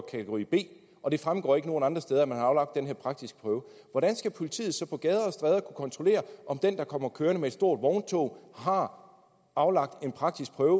kategori b og det ikke fremgår nogen andre steder at man har aflagt den her praktiske prøve hvordan skal politiet så på gader og stræder kunne kontrollere om den der kommer kørende med et stort vogntog har aflagt en praktisk prøve